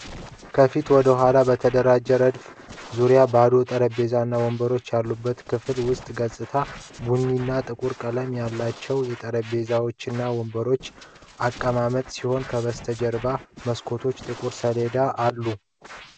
ከፊት ወደ ኋላ በተደራጁ ረድፎች የተ dizርዘሩ ባዶ ጠረጴዛዎች እና ወንበሮች ያለበት የክፍል ውስጥ ገጽታ። ቡኒና ጥቁር ቀለም ያሉት የጠረጴዛዎችና ወንበሮች አቀማመጥ ሲሆን ከበስተጀርባ መስኮቶችና ጥቁር ሰሌዳዎች አሉ።